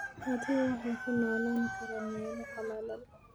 Adhigu waxay ku noolaan karaan meelo qalalan.